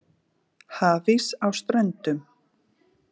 Hafís á Ströndum